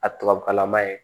A tubabukalan man ɲi